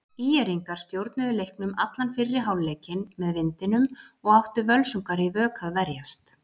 ÍR-ingar stjórnuðu leiknum allan fyrri hálfleikinn með vindinum og áttu Völsungar í vök að verjast.